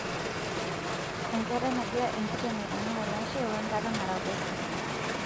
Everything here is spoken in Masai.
Enkata nagira enkiteng' aitanak olashe wenkata naraposho.